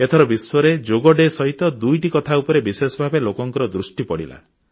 ଏଥର ବିଶ୍ୱରେ ଯୋଗ ଦିବସ ସହିତ ଦୁଇଟି କଥା ଉପରେ ବିଶେଷ ଭାବେ ଲୋକଙ୍କ ଦୃଷ୍ଟି ପଡ଼ିଲା